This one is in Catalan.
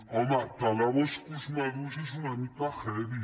home talar boscos madurs és una mica heavy